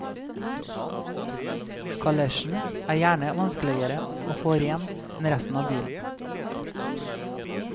Kalesjen er gjerne vanskeligere å få ren enn resten av bilen.